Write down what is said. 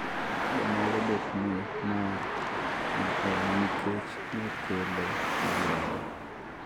be nyalo betni mae ne en nikech nokele molewo